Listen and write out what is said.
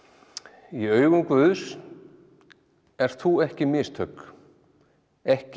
í augum guðs ert þú ekki mistök ekki